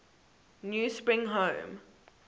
new spring home